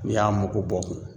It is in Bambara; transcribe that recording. N'i y'a mugu bɔ